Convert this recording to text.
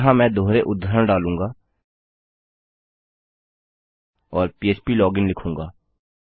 यहाँ मैं दोहरे उद्धरण डालूँगा और फ्प्लोजिन लिखूँगा